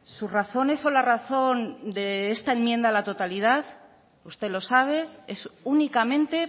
sus razones o la razón de esta enmienda a la totalidad usted lo sabe es únicamente